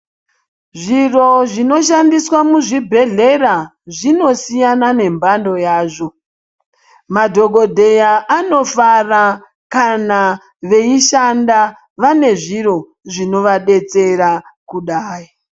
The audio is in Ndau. Zviro zvinoshandiswa muzvibhedhera zvinosiyana nemhando yazvo madhogodheya anofara kana veishanda vane zviro zvinovadetsera kudai.